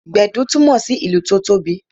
Gbedu túmọ sí ìlù tó tóbi